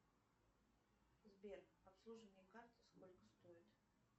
сбер обслуживание карты сколько стоит